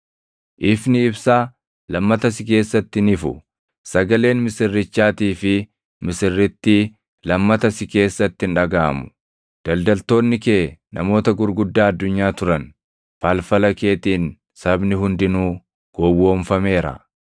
Ifni ibsaa, lammata si keessatti hin ifu. Sagaleen misirrichaatii fi misirrittii, lammata si keessatti hin dhagaʼamu. Daldaltoonni kee namoota gurguddaa addunyaa turan. Falfala keetiin sabni hundinuu gowwoomfameera.